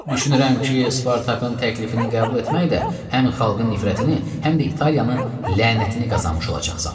Düşünürəm ki, Spartakın təklifini qəbul etməklə həm xalqın nifrətini, həm də İtaliyanın lənətini qazanmış olacaqsan.